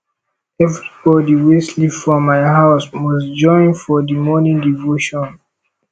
everybodi wey sleep for my house must join for di morning devotion